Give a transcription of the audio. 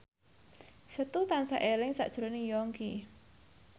Setu tansah eling sakjroning Yongki